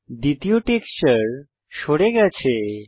দ্বিতীয় টেক্সচার সরে গেছে